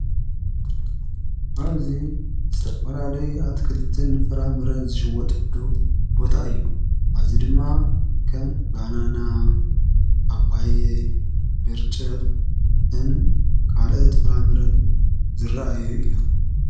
ኣብዙይ ዝተፈላለዩ ኣትክልትን ፍራምረን ዝሽወጥሉ ቦታ እዩ ኣዙይ ድማ ከም ባናና ፣ፓፓየ፣ ብርጭቕን ካልአት ፍራምርን ዝረአዮ እዮም።